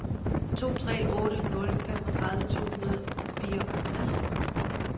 to tre otte nul femogtredive to hundrede og fireoghalvtreds